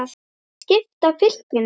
Hægt er að skipta fylkinu